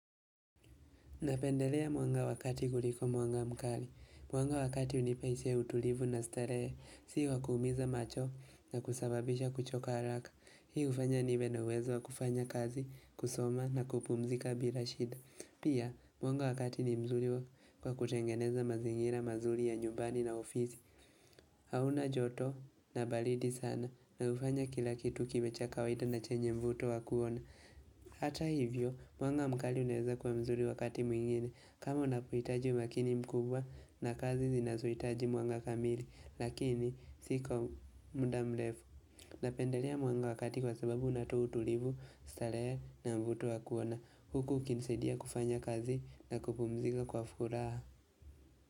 Napendelea mwanga wa kati kuliko mwanga mkali. Mwanga wa kati unipa hisia ya utulivu na starehe, si wa kuumiza macho na kusababisha kuchoka haraka. Hii hufanya nibe na uwezo wa kufanya kazi, kusoma na kupumzika bila shida. Pia, mwanga wa kati ni mzuri wa kwa kutengeneza mazingira mazuri ya nyumbani na ofisi. Hauna joto na balidi sana na ufanya kila kitu kiwe cha kawaida na chenye mvuto wa kuona. Ata hivyo, mwanga mkali unaeza kwa mzuri wakati mwingine. Kama unapoitaji wakini mkubwa na kazi zinazoitaji mwanga kamili. Lakini si kwa muda mlefu. Napendalea mwanga wa kati kwa sababu unatoa utulivu, stalehe na mvuto wa kuona. Huku ukinisaidia kufanya kazi na kupumzika kwa furaha.